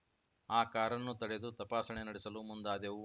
ಆ ಕಾರನ್ನು ತಡೆದು ತಪಾಸಣೆ ನಡೆಸಲು ಮುಂದಾದೆವು